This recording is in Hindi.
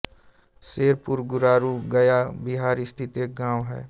सेरपुर गुरारू गया बिहार स्थित एक गाँव है